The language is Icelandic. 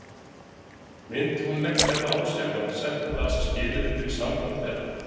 Myndi hún leggja það á sig ef hann setti það sem skilyrði fyrir sambandi þeirra?